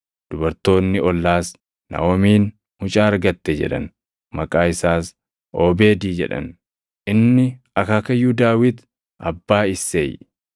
Dubartoonni ollaas, “Naaʼomiin mucaa argatte” jedhan. Maqaa isaas Oobeedi jedhan. Inni akaakayyuu Daawit, abbaa Isseey.